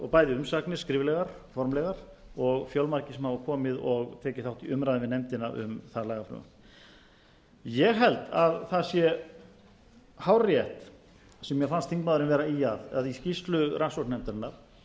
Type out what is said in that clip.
og umsagnir bæði skriflegar formlegar og fjölmargir sem hafa komið og tekið þátt í umræðu við nefndina um það lagafrumvarp ég held að það sé hárrétt sem mér fannst þingmaðurinn vera að ýja að að í skýrslu rannsóknarnefndarinnar